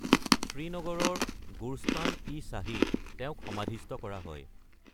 শ্ৰীনগৰৰ গোৰ্স্তান ই শ্বাহীত তেওঁক সমাধিস্থ কৰা হয়।